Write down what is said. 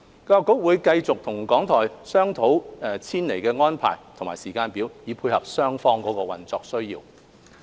教育局會繼續與港台商討遷離安排和時間表，以配合雙方的運作需要。